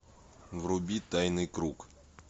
вруби тайный круг